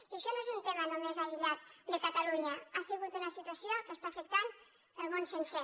i això no és un tema només aïllat de catalunya ha sigut una situació que està afectant el món sencer